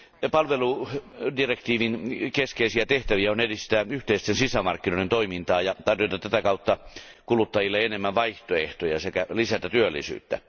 Palveludirektiivin keskeisiä tehtäviä on edistää yhteisten sisämarkkinoiden toimintaa ja tarjota tätä kautta kuluttajille enemmän vaihtoehtoja sekä lisätä työllisyyttä.